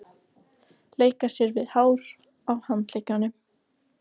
Leika sér við hárin á handleggjunum.